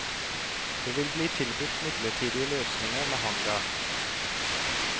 Det vil bli tilbudt midlertidige løsninger med hangar.